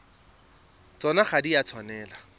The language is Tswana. tsona ga di a tshwanela